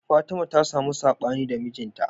Fatima ta samu saɓani da mijin ta